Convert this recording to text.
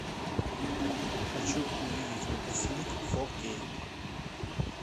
хочу увидеть выпускник фо кей